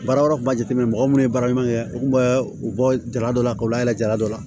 Baara wɛrɛw kun b'a jateminɛ mɔgɔ munnu ye baara ɲuman kɛ u kun bɛ u bɔ jara dɔ la ka layɛ jala dɔ la